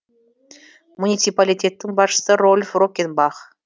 муниципалитеттің басшысы рольф роккенбах